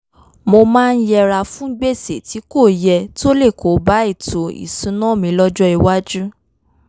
mo máa ń yẹra fún gbèsè tí kò yẹ tó lè kóbá ètò ìṣúnná mi lọ́jọ́ iwájú